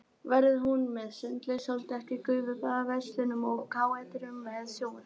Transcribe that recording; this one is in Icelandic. Verður hún með sundlaug, sóldekki, gufubaði, verslunum og káetum með sjónvarpi.